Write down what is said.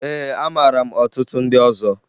Ee, amara m ọtụtụ ndị ọzọ